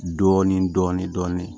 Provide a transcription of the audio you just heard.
Dɔɔnin dɔɔnin dɔɔnin